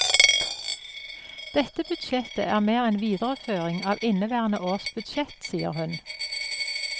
Dette budsjettet er mer en videreføring av inneværende års budsjett, sier hun.